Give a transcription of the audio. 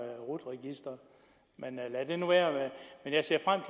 rut registeret men lad det nu være jeg ser frem